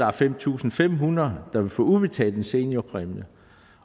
er fem tusind fem hundrede der vil få udbetalt en seniorpræmie